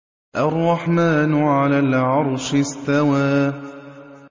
الرَّحْمَٰنُ عَلَى الْعَرْشِ اسْتَوَىٰ